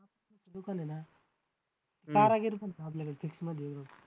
दुकान आहे ना आपल्याकडं fix मध्ये